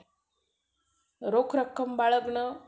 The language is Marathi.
हम्म हा आम्हाला तर काय करायचं माहितीये का?